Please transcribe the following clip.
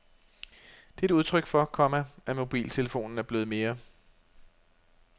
Det er et udtryk for, komma at mobiltelefonen er blevet mere